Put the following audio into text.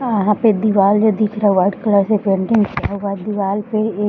यहां पे दीवाल जो दिख रहा है व्हाइट कलर से पेंटिंग किया हुआ है दीवाल पे एक --